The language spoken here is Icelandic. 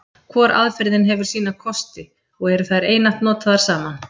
Hvor aðferðin hefur sína kosti, og eru þær einatt notaðar saman.